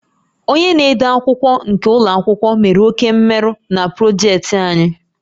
Onye na-ede akwụkwọ nke ụlọ akwụkwọ mere oke mmerụ na projektị anyị